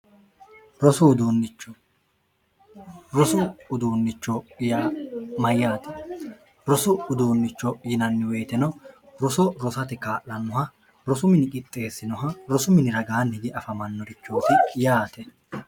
dhrosu uduunnicho mayyaate rosu uduunnicho yinanni woyitino roso rosate kaa'lannoha rosu mini qixxeessinoha rosu miniragaanni diafamannorichoosi yaate